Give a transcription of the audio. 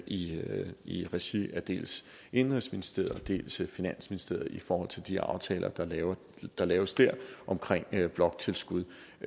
i i regi af dels indenrigsministeriet dels finansministeriet i forhold til de aftaler der laves der laves dér omkring bloktilskud